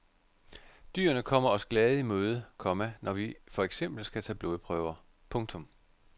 Dyrene kommer os glade i møde, komma når vi for eksempel skal tage blodprøver. punktum